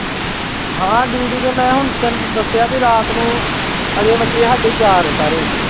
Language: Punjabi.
ਹਾਂ duty ਤੇ ਮੈਂ ਹੁਣ ਤੈਨੂੰ ਦੱਸਿਆ ਵੀ ਰਾਤ ਨੂੰ ਹਜੇ ਵੱਜੇ ਸਾਡੇ ਚਾਰ ਸਾਰੇ।